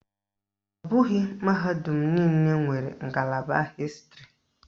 Ọ bụghị mahadum niile nwere ngalaba Hịstịrị